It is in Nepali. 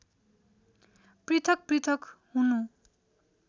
पृथक् पृथक् हुनु